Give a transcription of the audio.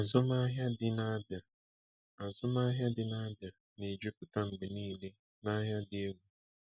Azụmahịa dị n'Abia Azụmahịa dị n'Abia na-ejupụta mgbe niile n'ahịa dị egwu.